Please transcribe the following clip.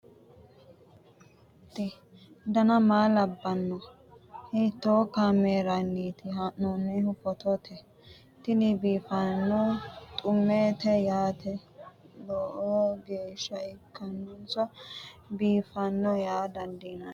ise maati ? dana maa labbanno ? hiitoo kaameerinni haa'noonni footooti ? tini biiffanno xummeeti yaate loeo geeshsha . ikkollana biiffanno yaa dandiinanni ?